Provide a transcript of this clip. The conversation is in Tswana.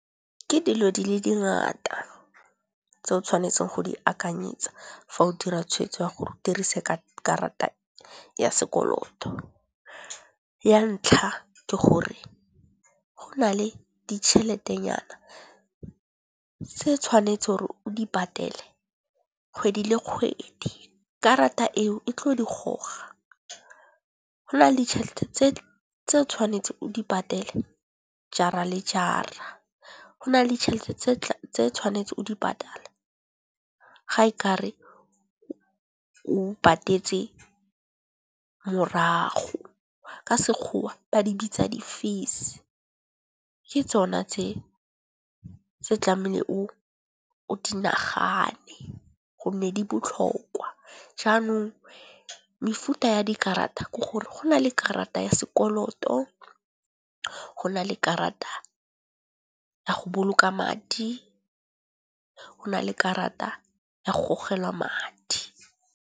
Ke dilo di le dingata tse o tshwanetseng go di akanyetsa fa o dira tshwetso ya gore o dirise ka karata ya sekoloto. Ya ntlha ke gore go na le ditšhelete nyana tse tshwanetse gore o di patele kgwedi le kgwedi, karata eo e tlo di goga. Go na le ditšhelete tse o tshwanetse o di patele jara le jara. Go na le ditšhelete tse tshwanetse o di patala ga e kare o patetse morago, ka sekgowa ba di bitsa di fees ke tsona tse tlamele o di nagane gonne di botlhokwa. Jaanong mefuta ya dikarata ke gore go na le karata ya sekoloto, go nale karata ya go boloka madi, go nale karata ya gogelwa madi.